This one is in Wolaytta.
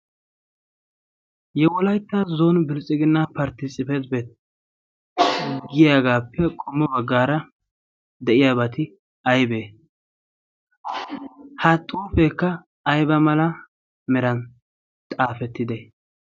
yewolayttaa zon bilxxiginna parti tisipphet bet giyaagaappe qommo baggaara de'iyaabaati aybee ha xuufeekka ayba mala meran xaafettide